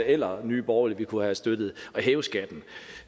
eller nye borgerlige ville kunne have støttet at hæve skatten